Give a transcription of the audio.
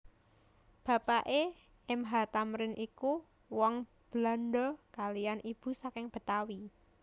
Bapake M H Thamrin iku wong Belandha kaliyan ibu saking Betawi